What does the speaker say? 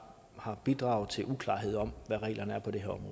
har bidraget til uklarhed om hvad reglerne